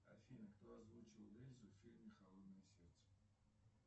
афина кто озвучивал эльзу в фильме холодное сердце